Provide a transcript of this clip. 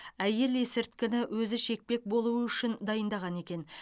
әйел есірткіні өзі шекпек болу үшін дайындаған екен